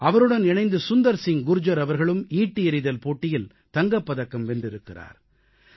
அவருடன் இணைந்து சுந்தர் சிங் குர்ஜர் அவர்களும் ஈட்டி எறிதல் போட்டியில் தங்கப் பதக்கம் வென்றிருக்கிறார்